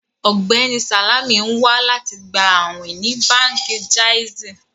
Ọgbẹni Salamì n wà láti gbà àwìn ní Bánkì Jàìzì.